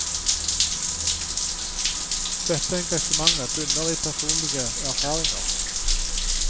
Dette engasjementet bunner i personlige erfaringer.